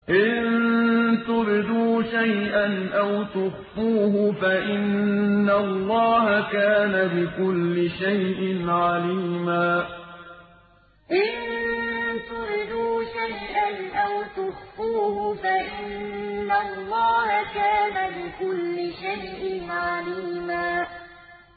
إِن تُبْدُوا شَيْئًا أَوْ تُخْفُوهُ فَإِنَّ اللَّهَ كَانَ بِكُلِّ شَيْءٍ عَلِيمًا إِن تُبْدُوا شَيْئًا أَوْ تُخْفُوهُ فَإِنَّ اللَّهَ كَانَ بِكُلِّ شَيْءٍ عَلِيمًا